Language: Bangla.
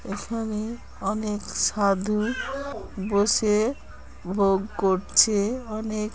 এখানে অনেক সাধু বসে ভোগ করছে। অনেক--